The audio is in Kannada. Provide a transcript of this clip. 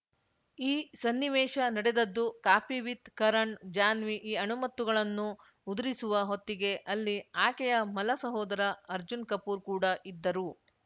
ಈ ಸನ್ನಿವೇಶ ನಡೆದದ್ದು ಕಾಫಿ ವಿತ್‌ ಕರಣ್‌ ಜಾನ್ವಿ ಈ ಅಣಿಮುತ್ತುಗಳನ್ನು ಉದುರಿಸುವ ಹೊತ್ತಿಗೆ ಅಲ್ಲಿ ಆಕೆಯ ಮಲ ಸಹೋದರ ಅರ್ಜುನ್‌ ಕಪೂರ್‌ ಕೂಡ ಇದ್ದರು